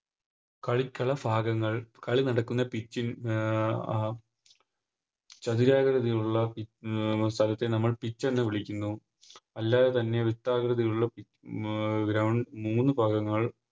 കലികാല ഫാഗങ്ങൾ കളി നടക്കുന്ന Pitch ൽ അഹ് ചതുരാകൃതിയുള്ള സ്ഥലത്തെ നമ്മൾ Pitch എന്ന് വിളിക്കുന്നു അല്ലാതെ തന്നെ വൃത്താകൃതിയിലുള്ള അഹ് ഗ്ര മൂന്ന് ഭാഗങ്ങൾ